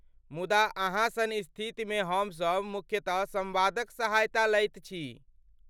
मुदा अहाँ सन स्थितिमे हमसभ मुख्यतः सम्वादक सहायता लैत छी।